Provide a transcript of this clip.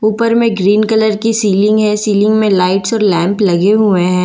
ऊपर में green colour की सीलिंग है सीलिंग में लाइट्स और लैंप लगे हुए हैं।